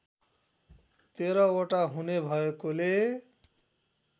१३ वटा हुने भएकोले